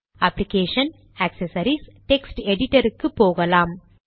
application gedit accessories gedit text editor க்கு போகலாம்